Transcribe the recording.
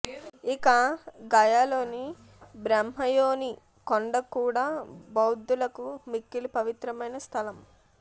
ఇక గయలోని బ్రహ్మయోని కొండ కూడా బౌద్దులకు మిక్కిలి పవిత్రమైన స్థలం